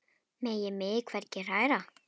Megi mig hvergi hræra.